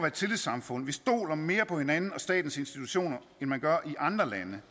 et tillidssamfund vi stoler mere på hinanden og statens institutioner end man gør i andre lande